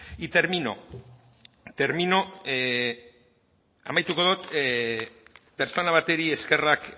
y termino termino amaituko dut pertsona bati eskerrak